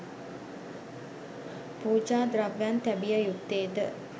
පූජා ද්‍රව්‍යයන් තැබිය යුත්තේ ද